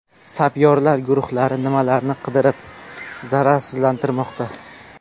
Sapyorlar guruhlari minalarni qidirib, zararsizlantirmoqda.